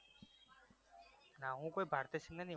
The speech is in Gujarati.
ના હું કોઈ ભારતી સિંધને નહિ ઓ